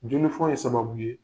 Jonofɔ ye sababu ye